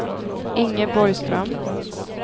Inge Borgström